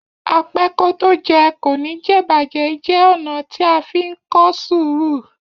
Apẹ́kótójẹ kò ní jẹ̀'bàjẹ́ jẹ́ ọ̀nà tí a fí ń kọ́ sùúrù.